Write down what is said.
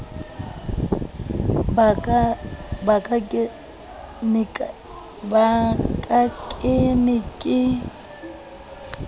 ba ka ke ne ke